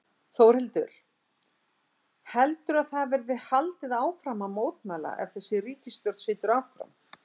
Þórhildur: Heldurðu að það verði haldið áfram að mótmæla ef að þessi ríkisstjórn situr áfram?